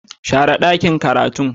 share dakin karatun